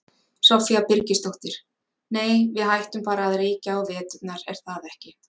Soffía Birgisdóttir: Nei við hættum bara að reykja á veturna, er það ekki?